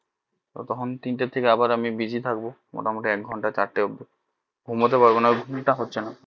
ততক্ষন তিন থেকে আবার আমি busy থাকবো মোটামুটি এক ঘন্টা চার টা অবধি ঘুমোতে পারবো না ঘুম টা হচ্ছে না